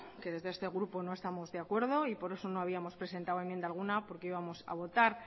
pero desde este grupo no estamos de acuerdo y por eso no habíamos presentado enmienda alguna porque íbamos a votar